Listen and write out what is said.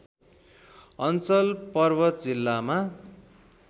अञ्चल पर्वत जिल्लामा